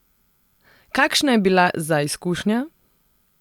Kakšna je bila za izkušnja?